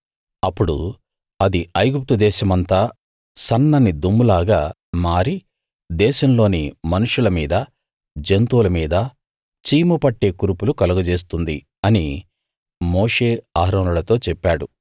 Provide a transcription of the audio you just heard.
అప్పుడు అది ఐగుప్తు దేశమంతా సన్నని దుమ్ములాగా మారి దేశంలోని మనుష్యుల మీదా జంతువుల మీదా చీము పట్టే కురుపులు కలగజేస్తుంది అని మోషే అహరోనులతో చెప్పాడు